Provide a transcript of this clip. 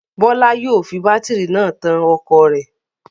Bọ́lá yóò fi bátírí náà tan ọkọ̀ rẹ̀.